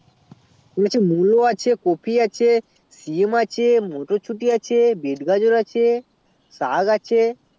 মুলো আছে কোপি আছে সিম আছে মোটরছুটি আছে বিট গাজর আছে সাগ আছে